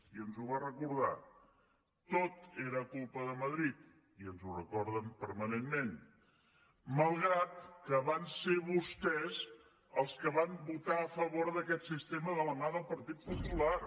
i ens ho va recordar tot era culpa de madrid i ens ho recorden permanentment malgrat que van ser vostès els que van votar a favor d’aquest sistema de la mà del partit popular